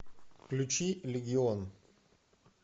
включи легион